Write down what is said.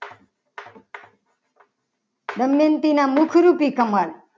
દમયંતીના મુખ રૂપી કમળ